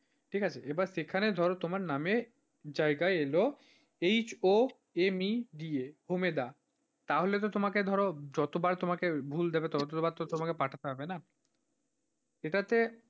ঠিক আছে এবার যেখানে ধরো তোমার নামের জায়গায় এলো, H O M E D A ওমেদা তাহলে তো তোমাকে ধরো যতবার তোমাকে ভুল দেবে ততবার তো তোমাকে পাঠাতে হবে না এটাতে,